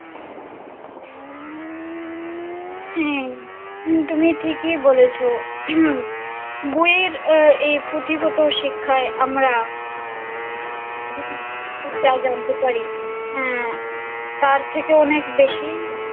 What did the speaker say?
হ্যাঁ তুমি ঠিকই বলেছ বইয়ের এই পুঁথিগত শিক্ষায় আমরা তা জানতে পারি আহ তার থেকেও অনেক বেশি